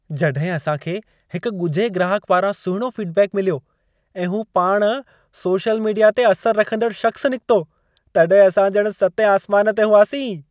जॾहिं असां खे हिक ॻुझे ग्राहक पारां सुहिणो फीडबैक मिलियो ऐं हू पाण सोशल मीडिया ते असरु रखंदड़ु शख़्सु निकितो, तॾहिं असां ॼणु सतें आसमान ते हुआसीं।